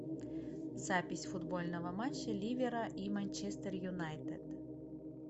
запись футбольного матча ливера и манчестер юнайтед